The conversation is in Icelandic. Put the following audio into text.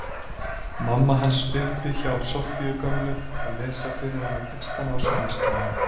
Mamma hans uppi hjá Soffíu gömlu að lesa fyrir hana textana á sjónvarpsskjánum.